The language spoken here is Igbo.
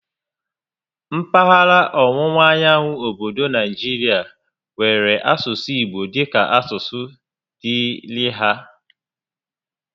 Mpaghara ọwụwa anyanwụ obodo Naijirịa nwèrè asụsụ Igbo dịka asụsụ dịịrị há